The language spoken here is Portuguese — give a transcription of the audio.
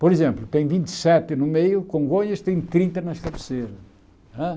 Por exemplo, tem vinte e sete no meio, Congonhas tem trinta nas cabeceiras hã.